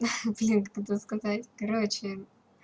ха-ха блин как это сказать короче